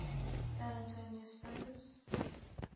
san antonio spurs